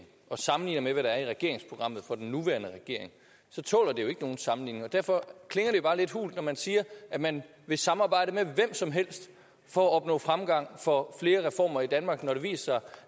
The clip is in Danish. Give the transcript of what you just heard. og sammenligner med hvad der er i regeringsprogrammet for den nuværende regering så tåler det jo ikke nogen sammenligning derfor klinger det jo bare lidt hult når man siger at man vil samarbejde med hvem som helst for at opnå fremgang for flere reformer i danmark når det viser